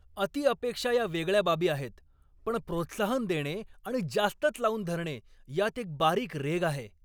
अति अपेक्षा या वेगळ्या बाबी आहेत, पण प्रोत्साहन देणे आणि जास्तच लावून धरणे यात एक बारीक रेघ आहे.